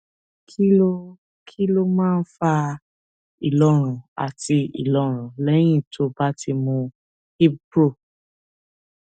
kí ló kí ló máa ń fa ìlọrun àti ìlọrun lẹyìn tó o bá ti mu ibpro